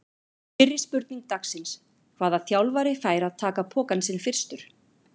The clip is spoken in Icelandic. Fyrri spurning dagsins: Hvaða þjálfari fær að taka pokann sinn fyrstur?